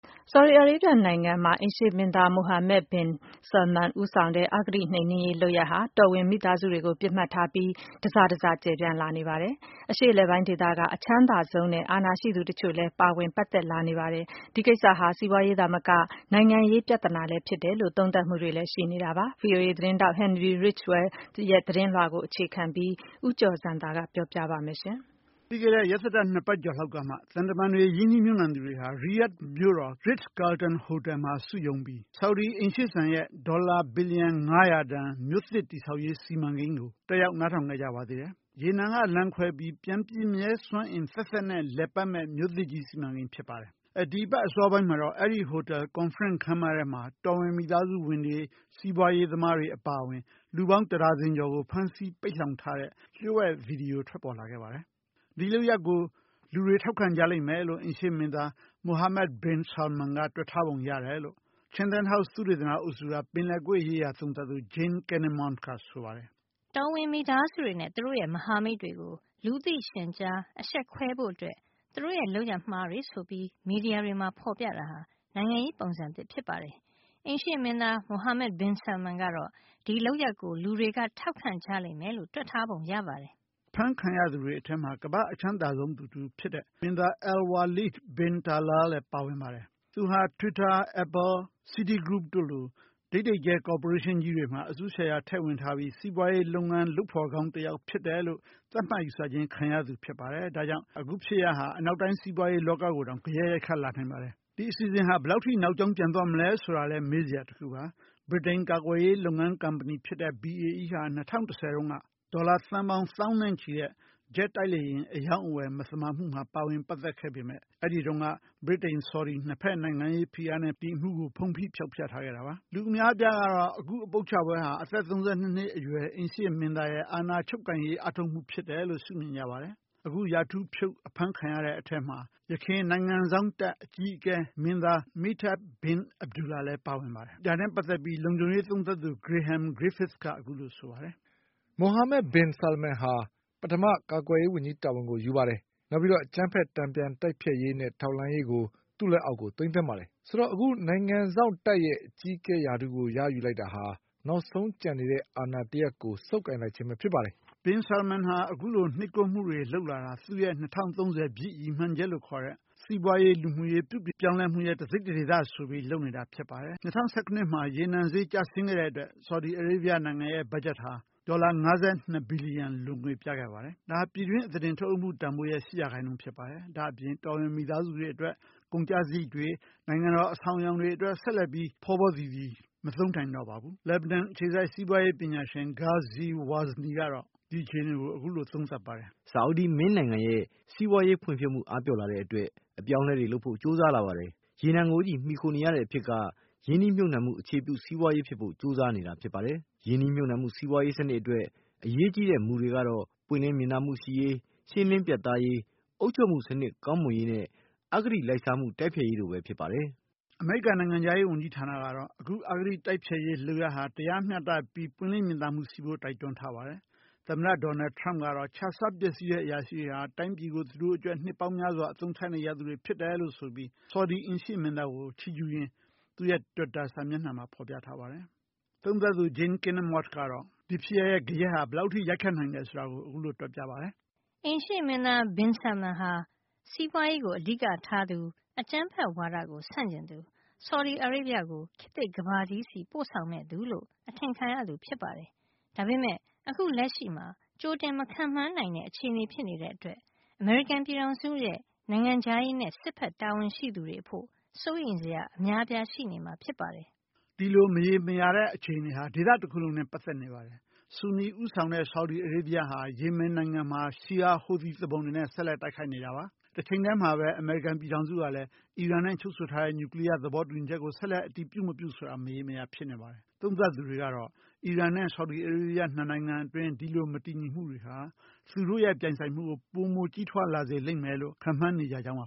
ဆော်ဒီအာရေးဗျ နိုင်ငံမှာ အိမ်ရှေ ့မင်းသား Mohammed bin Salman ဦးဆောင်တဲ့ အဂတိနှိမ်နင်းရေးလုပ်ရပ်ဟာ တောဝင်မိသားစုတွေ ကိုပစ်မှတ်ထားပြီး တစတစကျယ်ပြန့်လာနေပါတယ်။ အရှေ့အလယ်ပိုင်းဒေသက အချမ်းသာဆုံးနဲ့ အာဏာရှိသူတချို့လဲပါဝင်ပတ်သက်လာနေပါတယ်။ ဒီကိစ္စဟာ စီးပွါးရေးသာမက နိုင်ငံရေးပြဿနာလဲဖြစ်တယ်လို့ သုံးသပ်မှုတွေလဲရှိနေပါတယ်။ VOA သတင်းထောက် Henry Ridgwell ရဲ့သတင်းလွှာကိုအခြေခံပြီး ဦးကျော်ဇံသာက ပြောပြမှာပါ။ ပြီးခဲ့တဲ့ ရက်သတ္တ ၂ ပတ်ကျော်လောက်ကမှ သံတမန်တွေ ရင်းနှီးမြှုပ်နှံသူတွေ ဟာ ရီယာဒ် မြို့တော် Ritz Carlton ဟိုတယ်မှာစုရုံးပြီး ဆော်ဒီအိမ်ရှေ့စံ ရဲ့ ဒေါ်လာ ဘီလျံ ၅၀၀ တန်မြို့သစ်ကြီး တည်ဆောက်ရေး စီမံကိန်းကို နားထောင်ခဲ့ကြပါသေးတယ်။ ရေနံကလမ်းခွဲပြီးပြန်ပြည့်မြဲ စွမ်းအင်သက်သက်နဲ့ လည်ပတ်မယ့် စီမံကိန်းကြီးတရပ်ဖြစ်ပါတယ်။ ဒီအပတ် အစောပိုင်းမှာတော့ အဲဒီဟိုတယ် ကွန်ဖရင့်ခမ်းမထဲမှာ တော်ဝင်မိသားစုဝင်တွေ စီးပွါးရေးသမားတွေ အပါအဝင် လူပေါင်းတဒါဇင်ကျော်ကို ဖမ်းဆီးပိတ်လှောင်ထားတဲ့ လျှို့ဝှက်ဗီဒီယို ပေါ်ထွက်လာခဲ့ပါတယ်။ ဒီလုပ်ရပ်ကို လူတွေထောက်ခံကြလိမ့်မယ်လို့ အိမ်ရှေ့မင်းသား Mohammed bin Salman က တွက်ထားပုံ ရတယ်လို့ Chanthan House သုတေသနအုပ်စုက ပင်လယ်ကွေ့ရေးရာသုံးသပ်သူ Jane Kinninmont ကဆိုပါတယ်။ “ တော်ဝင်မိသားစုဝင်တွေနဲ့ သူတို့ရဲ့မဟာမိတ်တွေကို လူသိရှင်ကြားအရှက်ခွဲဖို့အတွက် သူတို့ရဲ့ လုပ်ရပ်မှားတွေဆိုပြီး မီဒီယာတွေမှာဖေါ်ပြတာဟာ နိုင်ငံရေးပုံစံသစ်ဖြစ်ပါတယ်။ အိမ်ရှေ့မင်းသား Mohammed bin Salman ကတော့ ဒီလုပ်ရပ်ကို လူတွေထောက်ခံကြလိမ့်မယ်လို့ တွက်ထားပုံရပါတယ်။" အဖမ်းခံရသူတွေထဲမှာ ကမ္ဘာ့အချမ်းသာဆုံးသူတဦးဖြစ်တဲ့ မင်းသား Alwaleed bin Talal လဲ ပါဝင်ပါ တယ်။ သူဟာ twitter, Apple, Citygroup တို့လို ဒိပ်ဒိပ်ကျဲ ကော်ပိုရေးရှင်းကြီးတွေမှာ အစု ရှယ်ယာတွေ ထည့်ဝင်ထားပြီး စီးပွါးရေးလုပ်ဖော်ကောင်းတယောက်လို့မှတ်ယူခြင်းခံရသူ ဖြစ်ပါတယ် ဒါကြောင့် အခုဖြစ်ရပ်ဟာ အနောက်တိုင်းစီးပွါးရေးလောကကို တောင်ဂယက်ရိုက်ခတ်လာနိုင်ပါတယ်။ ဒီအစီအစဉ်ဟာ ဘယ်လောက်ထိနောက်ကြောင်းပြန်သွားမလဲဆိုတာလဲ ဆိုတာလဲမေးစရာပါ။ ဗြိတိန်ကာကွယ်ရေးလုပ်ငန်းကုမ္ပဏီ BAE ဟာ ၂၀၁၀ တုန်းက ဒေါ်လာ သန်းပေါင်းသောင်းနဲ့ချီတဲ့ ဂျက်တိုက်လေယာဉ် အရောင်းအဝယ် မသမာမှုမှာပါဝင်ခဲ့ပေမဲ့ ဒီအမှုကို ဗြီတိန်-ဆော်ဒီ ၂ ဖက်နိုင်ငံရေးဖိအား နဲ့ ဒီအမှုကို ဖုံးဖိဖောက်ဖျက်ထားခဲ့ကြတာပါ။ လူအများအပြားကတော့ ဒီအပုပ်ချပွဲဟာ အသက် ၃၂ နှစ်အရွယ် အိမ်ရှေ ့မင်းသားရဲ့ အာဏာ ချုပ်ကိုင်ရေး အားထုတ်မှုအဖြစ် ရှုမြင်ကြပါတယ်။ အခုရာထူးဖြုတ်အဖမ်းခံရတဲ့ အထဲမှာ ယခင် နိုင်ငံစောင့်တပ် အကြီးအကဲဟောင်းမင်းသား Miteb bin Abdullah လဲပါဝင်ပါတယ်။ ဒါနဲ့ ပတ်သက်ပြီး လုံခြုံရေးသုံးသပ်သူ Graham Griffiths က အခုလို ဆိုပါတယ်။ “ Mohammed bin Salman ဟာ ပထမ ကာကွယ်ရေးဝန်ကြီးရာထူးကိုယူတယ်၊ နောက် အကြမ်းဖက် တန်ပြန်တိုက်ဖျက်ရေးနဲ့ ထောက်လှမ်းရေးကို သူ့လက်အောက် သိမ်းသွင်းတယ်။ ဆိုတော့ အခု နိုင်ငံစောင့်တပ်ရဲ့ အကြီးအကဲရာထူးကို ရယူလိုက်တာဟာ နောက်ဆုံးကျန်နေတဲ့ အာဏာတရပ်ကို ဆုပ်ကိုင်လိုက်ခြင်းပဲဖြစ်တယ်” -လို့ လုံခြုံရေးသုံးသပ်သူ Graham Griffiths က ဆိုပါတယ်။ Bin Salman ဟာ အခုလို နှိပ်ကွပ်မှုတွေလုပ်တာဟာ သူ့ရဲ့ ၂၀၃၀ ပြည့် ရည်မှန်းချက်လို့ခေါ်တဲ့ စီးပွားရေး၊ လူမှုရေး ပြုပြင်ပြောင်းလဲမှု တစိတ်တဒေသအနေနဲ့ ဆိုပြီး လုပ်နေတာဖြစ်ပါတယ်။ ၂၀၁၇ နှစ် ရေနံဈေး ကျဆင်းခဲ့တဲ့အတွက် ဆော်ဒီအာရေဗျနိုင်ငံရဲ့ ဘတ်ဂျက်ဟာ ဒေါ်လာ ၅၂ ဘီလီယံ လိုငွေပြခဲ့ပါတယ်။ ဒါဟာ ပြည်တွင်းအသားတင်ထုတ်လုပ်မှုတန်ဖိုးရဲ့ ၈% ဖြစ်ပါတယ်။ ဒါ့အပြင် တော်ဝင်မိသားစုတွေအတွက် ကုန်ကျစရိတ်တွေ ၊ နိုင်ငံတော် အဆောင်အယောင်တွေအတွက် ဆက်လက်ပြီး ဖောဖောသီသီမသုံးနိုင်တော့ပါဘူး။ လက်ဘနွမ် အခြေစိုက် စီးပွားရေးပညာရှင် Ghazi WAzni က အခုလို သုံးသပ်ပြောဆိုပါတယ်။ “ဆော်ဒီမင်းနိုင်ငံရဲ့ စီးပွားရေးဖွံ့ဖြိုးမှု အားပျော့လာတဲ့အတွက် အပြောင်းအလဲတွေလုပ်ဖို့ ကြိုးစားလာပါတယ်။ ရေနံကိုပဲ မှီခိုနေရတဲ့အဖြစ်က ရင်းနှီးမြှုပ်နှံမှု အခြေပြု စီးပွားရေးဖြစ်ဖို့ ကြိုးစားနေတာ ဖြစ်ပါတယ်။ ရင်းနှီးမြှုပ်နှံမှုစီးပွားရေးစနစ်အတွက် အရေးကြီးတဲ့မူတွေကတော့ ပွင့်လင်းမြင်သာမှုရှိရေး၊ ရှင်းလင်းပြတ်သားရေး၊ အုပ်ချုုပ်မှုစနစ် ကောင်းမွန်ရေးနဲ့ အဂတိလိုက်စားမှု တိုက်ဖျက်ရေးတို့ပဲဖြစ်ပါတယ်” အမေရိကန်နိုင်ငံခြားရေးဝန်ကြီးဌာနကတော့ အခု အဂတိမှု တိုက်ဖျက်ရေးလုပ်ရပ်ဟာ တရားမျှတမှုနဲ့ ပွင့်လင်းမြင်သာမှုရှိဖို့ တိုက်တွန်းထားပါတယ်။ သမ္မတ ထရမ့်ကတော့ ခြစားပျက်စီးတဲ့အရာရှိတွေဟာ တိုင်းပြည်ကို သူတို့အကျိုးအတွက် နှစ်ပေါင်းများစွာ အသုံးချနေကြသူတွေဖြစ်တယ်လို့ ဆိုပြီး ဆော်ဒီ အိမ်ရှေ့မင်းသားကို ချီးကျူးရင်း သူ့ရဲ့ တွစ်တာ စာမျက်နှာမှာ ဖော်ပြထားပါတယ်။ သုံးသပ်သူ Jane Kinninmont ကတော့ “အိမ်ရှေ့မင်းသား Bin Salman ဟာ စီးပွားရေးကို အဓိက ထားသူ၊ အကြမ်းဖက်ဝါဒကို ဆန့်ကျင်သူ၊ ဆော်ဒီအာရေဗျကို ခေတ်သစ် ကမ္ဘာကြီးဆီ ပို့ဆောင်မယ့်သူလို့ အထင်ခံရသူဖြစ်ပါတယ်။ ဒါပေမယ့် အခုလက်ရှိမှာ ကြိုတင်မခန့်မှန်းနိုင်တဲ့ အခြေအနေဖြစ်နေတဲ့အတွက် အမေရိကန်ပြည်ထောင်စုရဲ့နိုင်ငံခြားရေးနဲ့ စစ်ဘက် တာဝန်ရှိသူတွေအဖို့ စိုးရိမ်စရာ အများအပြား ရှိနေမှာဖြစ်ပါတယ်။” ဒီမရေရာတဲ့အခြေအနေဟာ ဒေသတခုလုံးနဲ့လည်း ပတ်သက်နေပါတယ်။ ဆူနီ ဦးဆောင်တဲ့ ဆော်ဒီ အာရေးဗျဟာ ယေမင်နိုင်ငံမှာ Shi’ite ဟူသီသူပုန်တွေနဲ့ ဆက်လက်တိုက်ခိုက်နေပါတယ်။ တချိန်တည်းမှာပဲ အမေရိကန်ပြည်ထောင်စုကလည်း အီရန်နဲ့ချုပ်ဆိုထားတဲ့နျူကလီယား သဘောတူညီချက်ကို ဆက်လက် အတည်ပြုမပြုဆိုတာ မရေမရာ ဖြစ်နေပါတယ်။ သုံးသပ်သူတွေကတော့ အီရန်နဲ့ ဆော်ဒီအာရေးဗျ နှစ်နိုင်ငံအတွင်း မတည်ငြိမ်မှုဟာ သူတို့ရဲ့ ပြိုင်ဆိုင်မှုကို ပိုမို ကြီးထွားလာလိမ့်မယ်လို့ ခန့်မှန်းနေကြကြောင်းပါ